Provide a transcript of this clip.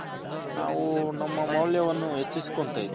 ನಾವು ನಮ್ಮ ಮೌಲ್ಯವನ್ನು ಹೆಚ್ಚಿಸ್ಕೊಂತಿದ್